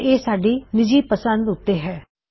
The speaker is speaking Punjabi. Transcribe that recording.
ਪਰ ਇਹ ਸਾਡੀ ਨਿੱਜੀ ਪੰਸਦ ਉੱਤੇ ਹੈ